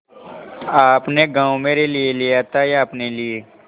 आपने गॉँव मेरे लिये लिया था या अपने लिए